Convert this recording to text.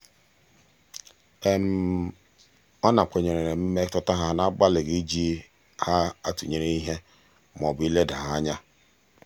ọ nakweere mmetụta ha n'agbalịghị iji ha atụnyere ihe maọbụ ileda ha anya.